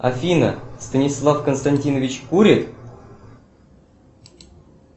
афина станислав константинович курит